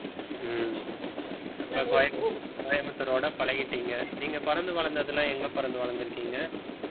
ஹம் அப்ப கோயம்புத்~ கோயம்புத்தூரோட பழகிட்டீங்க நீங்க பிறந்து வளர்ந்தது எல்லாம் எங்க பிறந்து வளர்ந்து இருக்கீங்க